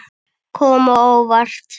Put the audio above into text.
Kom á óvart.